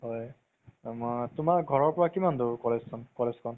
হয় আমাৰ তুমাৰ ঘৰৰ পৰাই কিমান দুৰ college খন